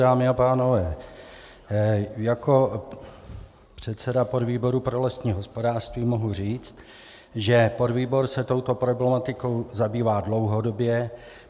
Dámy a pánové, jako předseda podvýboru pro lesní hospodářství mohu říct, že podvýbor se touto problematikou zabývá dlouhodobě.